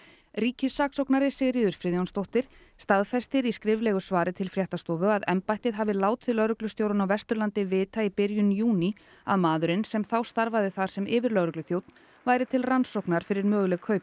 ríkissaksóknari Sigríður Friðjónsdóttir staðfestir í skriflegu svari til fréttastofu að embættið hafi látið lögreglustjórann á Vesturlandi vita í byrjun júní að maðurinn sem þá starfaði þar sem yfirlögregluþjónn væri til rannsóknar fyrir möguleg kaup